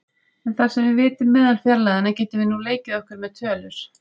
En þar sem við vitum meðalfjarlægðina getum við nú leikið okkur með tölur.